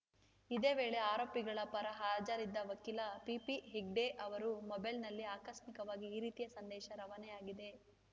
ಇದೇ ವೇಳೆ ಆರೋಪಿಗಳ ಪರ ಹಾಜರಿದ್ದ ವಕೀಲ ಪಿಪಿಹೆಗ್ಡೆ ಅವರು ಮೊಬೈಲ್‌ನಲ್ಲಿ ಆಕಸ್ಮಿಕವಾಗಿ ಈ ರೀತಿಯ ಸಂದೇಶ ರವಾನೆಯಾಗಿದೆ